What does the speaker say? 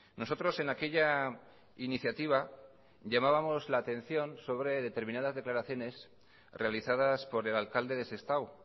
nosotros en aquella iniciativa llamábamos la atención sobre determinadas declaraciones realizadas por el alcalde de sestao